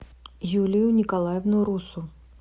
юлию николаевну руссу